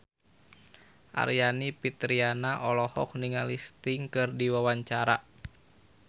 Aryani Fitriana olohok ningali Sting keur diwawancara